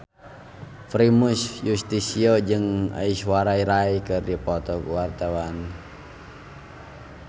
Primus Yustisio jeung Aishwarya Rai keur dipoto ku wartawan